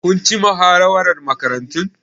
Kun ci muhawarar Makarantun?